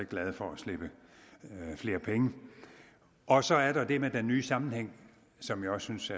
glade for at slippe flere penge og så er der det med den nye sammenhæng som jeg også synes